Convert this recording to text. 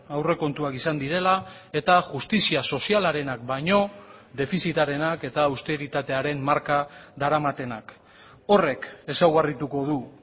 aurrekontuak izan direla eta justizia sozialarenak baino defizitarenak eta austeritatearen marka daramatenak horrek ezaugarrituko du